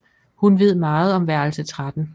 Hun ved meget om værelse 13